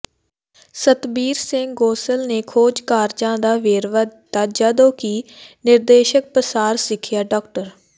ਸਤਬੀਰ ਸਿੰਘ ਗੋਸਲ ਨੇ ਖੋਜ ਕਾਰਜਾਂ ਦਾ ਵੇਰਵਾ ਦਿੱਤਾ ਜਦੋਂ ਕਿ ਨਿਰਦੇਸ਼ਕ ਪਸਾਰ ਸਿਖਿਆ ਡਾ